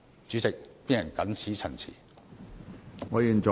主席，我謹此陳辭。